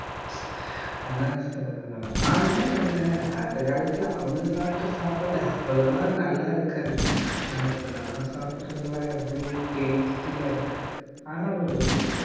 ஆனா சா ஆனா என்ன அந்த காலத்துல அவுங்க சாப்பிட்ட சாப்பாடு அவ்வளவா நல்லா இருக்காது ஆனா இப்ப நம்ம சாப்பிடறதெல்லாம் எவ்வளவு tasty ஆ இருக்கு ஆனா ஒரு விஷயம்